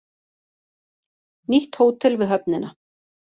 Nýtt hótel við höfnina